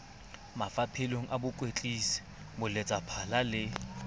mafapheng a bokwetlisi boletsaphala le